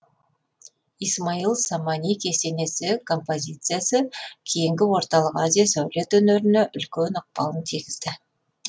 исмаил самани кесенесі композициясы кейінгі орталық азия сәулет өнеріне үлкен ықпалын тигізген